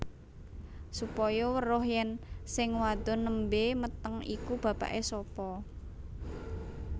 Supaya weruh yèn sing wadon nembé meteng iku bapaké sapa